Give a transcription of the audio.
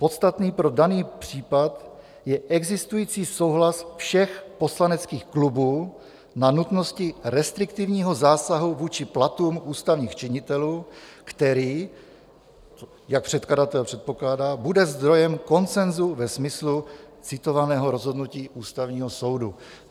Podstatný pro daný případ je existující souhlas všech poslaneckých klubů na nutnosti restriktivního zásahu vůči platům ústavních činitelů, který, jak předkladatel předpokládá, bude zdrojem konsenzu ve smyslu citovaného rozhodnutí Ústavního soudu.